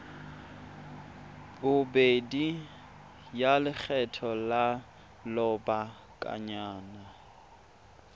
bobedi ya lekgetho la lobakanyana